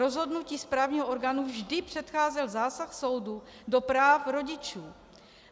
Rozhodnutí správního orgánu vždy předcházel zásah soudu do práv rodičů.